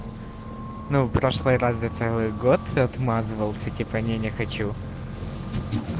ну в прошлый раз за целый год ты отмазывался типа не не хочу